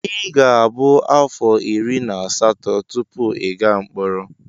Ị ga-abụ afọ iri na asatọ tupu ị gaa mkpọrọ.